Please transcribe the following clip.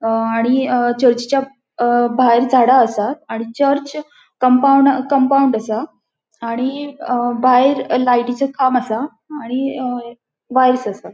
अ आणि चर्चीच्या भायर झाडा असा आणि चर्च कम्पाउन्ड कम्पाउन्ड असा आणि भायर लायटीचो खाम असा आणि असा.